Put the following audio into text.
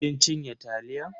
ki cinye taliyan.